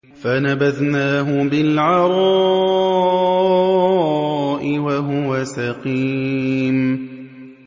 ۞ فَنَبَذْنَاهُ بِالْعَرَاءِ وَهُوَ سَقِيمٌ